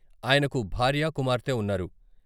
ఆయనకు భార్య, కుమార్తె ఉన్నారు.